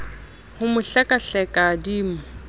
ho mo hlekahleka di mo